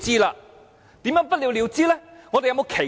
怎樣不了了之呢？